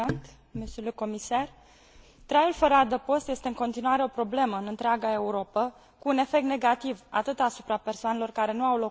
Traiul fără adăpost este în continuare o problemă în întreaga Europă, cu un efect negativ atât asupra persoanelor care nu au locuințe, cât și asupra societății.